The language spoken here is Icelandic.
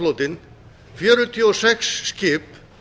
togaraflotinn fjörutíu og sex skip